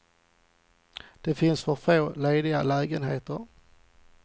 Det finns för få lediga lägenheter.